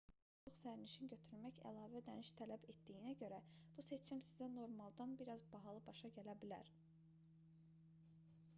qaydalara əsasən 2 nəfərdən çox sərnişin götürmək əlavə ödəniş tələb etdiyinə görə bu seçim sizə normaldan bir az bahalı başa gələ bilər